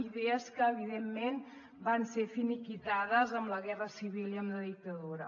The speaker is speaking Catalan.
idees que evidentment van ser finiquitades amb la guerra civil i amb la dictadura